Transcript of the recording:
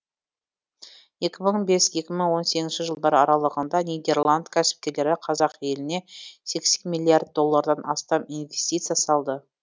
екі мың бес екі мың он сегізінші жылдар аралығында нидерланд кәсіпкерлері қазақ еліне сексен миллиард доллардан астам инвестиция салды